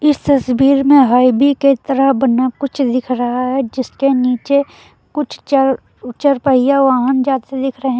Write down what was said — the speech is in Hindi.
इस तस्वीर में हाइवे की तरह बना कुछ दिख रहा है जिसके नीचे कुछ चर चार पहिया वाहन जाते दिख रहे--